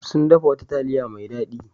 Sun dafa wata taliya mai dadi.